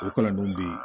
U kalannenw bɛ yen